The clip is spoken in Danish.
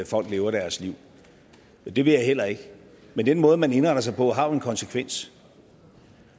folk lever deres liv det vil jeg heller ikke men den måde man indretter sig på har jo en konsekvens